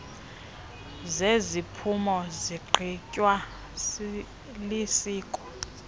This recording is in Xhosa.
zeziphumo zigqitywa lisiko